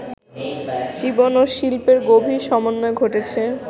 জীবন ও শিল্পের গভীর সমন্বয় ঘটেছে